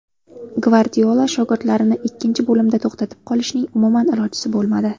Gvardiola shogirdlarini ikkinchi bo‘limda to‘xtatib qolishning umuman ilojisi bo‘lmadi.